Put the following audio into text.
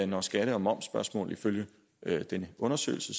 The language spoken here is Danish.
når skatte og momsspørgsmål ifølge den undersøgelse